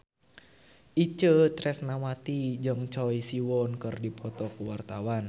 Itje Tresnawati jeung Choi Siwon keur dipoto ku wartawan